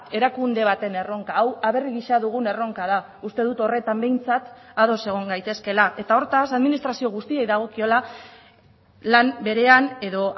erakunde baten erronka hau aberri gisa dugun erronka da uste dut horretan behintzat ados egon gaitezkeela eta hortaz administrazio guztiei dagokiola lan berean edo